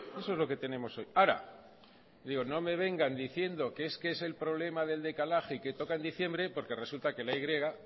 eso es lo que tenemos hoy ahora digo no me vengan diciendo que es que es el problema del decalaje y que toca en diciembre porque resulta que la y